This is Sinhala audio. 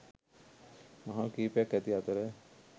මහල් කීපයක් ඇති අතර